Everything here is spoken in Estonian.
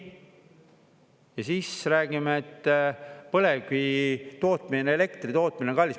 Ja siis räägime, et põlevkivi tootmine, elektri tootmine on kallis.